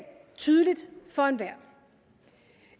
tydeligt for enhver